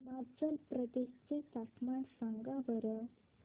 हिमाचल प्रदेश चे तापमान सांगा बरं